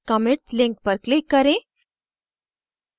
commits link पर click करें